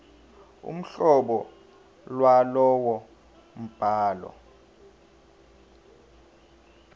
uhlobo lwalowo mbhalo